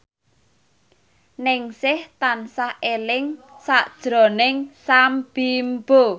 Ningsih tansah eling sakjroning Sam Bimbo